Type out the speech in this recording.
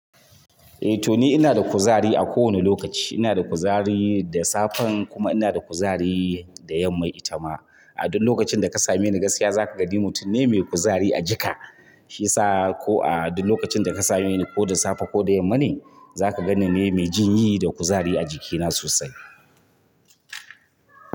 Eh to ni ina da kuzari a kowane lokaci. Ina da kuzari da safen kuma ina da kuzari da yamma ita ma. A duk lokacin da ka same ni gaskiya za ka ga ni mutum ne mai kuzari a jika. Shiya sa ko a duk lokacin da ka same ni ko da safe ko da yamma ne, za ka gani me jinyi da kuzari a jikina sosai.